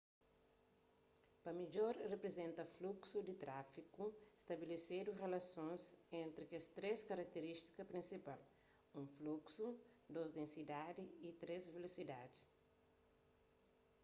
pa midjor riprizenta fluksu di trafigu stabilesidu rilasons entri kes três karatirístikas prinsipal: 1 fluksu 2 densidadi y 3 vilosidadi